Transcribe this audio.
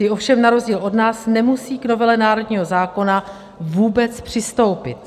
Ty ovšem na rozdíl od nás nemusí k novele národního zákona vůbec přistoupit.